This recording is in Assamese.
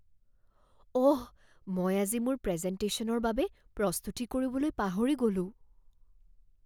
অহ! মই আজি মোৰ প্ৰেজেন্টেশ্যনৰ বাবে প্ৰস্তুতি কৰিবলৈ পাহৰি গ'লোঁ